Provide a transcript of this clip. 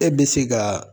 E bɛ se ka